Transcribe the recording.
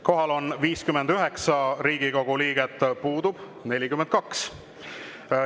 Kohal on 59 Riigikogu liiget, puudub 42.